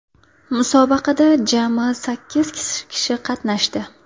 Musobaqada jami sakkiz kishi qatnashdi.